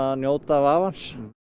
njóta vafans